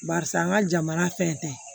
Barisa n ka jamana fɛn tɛ